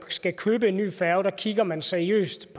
skal købe en ny færge kigger man seriøst